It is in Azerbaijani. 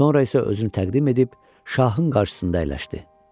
Sonra isə özünü təqdim edib, şahın qarşısında əyləşdi.